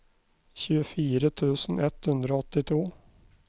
tjuefire tusen ett hundre og åttito